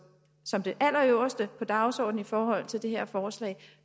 som det allerøverste på dagsordenen i forhold til det her forslag